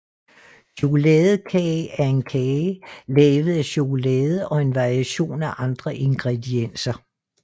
Chokoladekage er en kage lavet af chokolade og en variation af andre ingredienser